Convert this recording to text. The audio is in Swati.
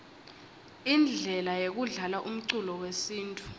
indlele yekudlalaumculo wesintfu